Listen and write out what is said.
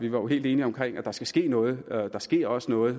jo helt enige om at der skal ske noget der sker også noget